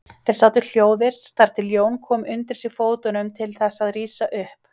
Þeir sátu hljóðir þar til Jón kom undir sig fótum til þess að rísa upp.